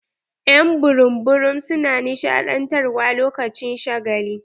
Y'an burum burum su na nishaɗantar wa lokacin shagali.